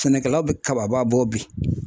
Sɛnɛkɛla bɛ kaba bɔ bi